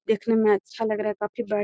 देखने में अच्छा लग रहा है काफी बड़ा --